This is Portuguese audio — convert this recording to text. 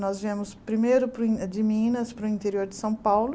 Nós viemos primeiro para o de Minas para o interior de São Paulo.